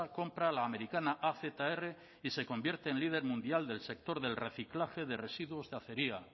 compra la americana azr y se convierte en líder mundial del sector del reciclaje de residuos de acería